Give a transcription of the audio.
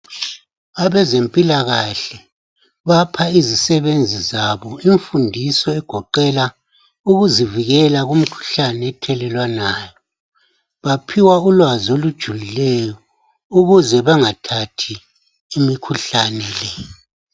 Abezempilakahle bapha izisebenzi zabo imfundiso egoqela ukuzivikela kumkhuhlane ethelelwanayo, baphiwa ulwazi olujulileyo ukuze bengathathi imikhuhlane le.